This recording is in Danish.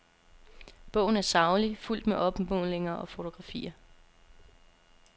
Bogen er saglig, fuldt med opmålinger og fotografier.